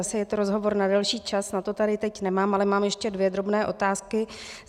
Asi je to rozhovor na delší čas, na to tady teď nemám, ale mám ještě dvě drobné otázky.